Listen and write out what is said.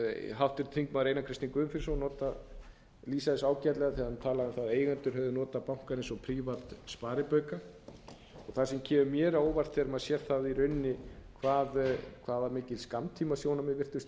lýsa þessu ágætlega þegar hann talaði um það að eigendur hefðu notað bankann eins og prívat sparibauka og það sem kemur mér á óvart er þegar maður sér það í rauninni hvað var mikið skammtímasjónarmið virtist